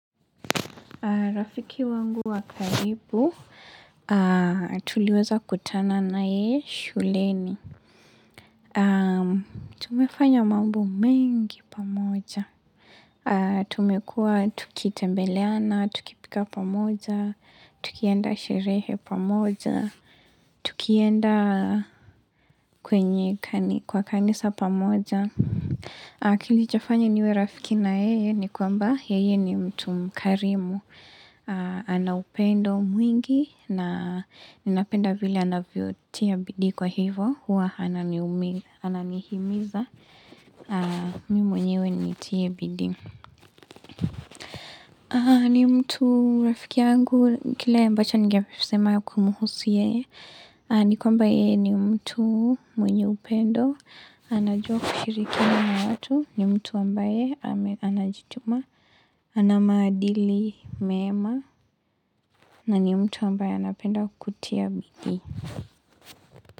Rafiki wangu wa karibu, tuliweza kutana naye shuleni. Tumefanya mambo mengi pamoja. Tumekuwa tukitembeleana, tukipika pamoja, tukienda sherehe pamoja, tukienda kwenye kwa kanisa pamoja. Kilichofanya niwe rafiki na yeye ni kwamba yeye ni mtu mkarimu, ana upendo mwingi na ninapenda vile anavyotia bidii kwa hivo, huwa ananihimiza, mimi mwenyewe nitie bidii. Ni mtu rafiki yangu, kile ambacho ningesema kumhusu yeye, ni kwamba yeye ni mtu mwenye upendo, anajua kushiriki na watu, ni mtu ambaye anajituma, ana maadili mema, na ni mtu ambaye anapenda kutia bidii.